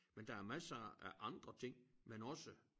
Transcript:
Men der er masser af andre ting man også